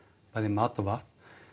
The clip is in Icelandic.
bæði mat og vatn